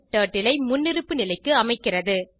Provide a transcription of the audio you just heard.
turtle ஐ முன்னிருப்பு நிலைக்கு அமைக்கிறது